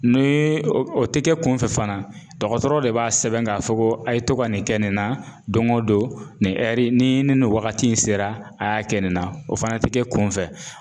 Ni o tɛ kɛ kunfɛ fana dɔgɔtɔrɔ de b'a sɛbɛn k'a fɔ ko a ye to ka nin kɛ nin na don o don nin ni ni nin wagati in sera a y'a kɛ nin na o fana tɛ kɛ kunfɛ